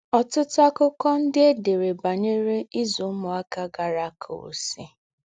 Ọ̀tútù àkụ́kọ̀ ndí́ è dèrè bànyèrè ízù úmùákà gàárá àkụ́wùsì.